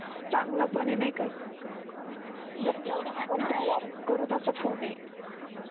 चांगलं पण आहे नाही का पण तेवढाच करू तसा फोन आहे.